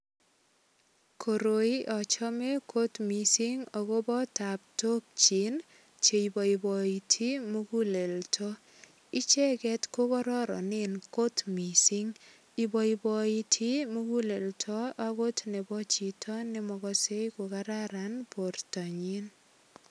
Koroi achame kot mising agobo taptok chin che iboiboiti muguleldo. Icheget ko kororonen kot mising. Iboiboiti muguleldo agot nebo chito ne mokose kokararan bortanyin.